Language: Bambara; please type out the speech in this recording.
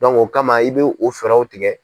o kama i b'o fɛɛrɛw tigɛ.